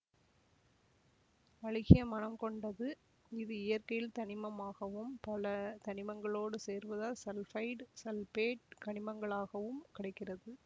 அழுகிய மணம் கொண்டது இது இயற்கையில் தனிமம் ஆகவும் பல தனிமங்களோடு சேர்வதால் சல்பைடு சல்பேட்டு கனிமங்களாகவும் கடைக்கிறது